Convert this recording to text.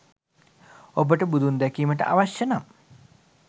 ඔබට බුදුන් දැකීමට අවශ්‍යය නම්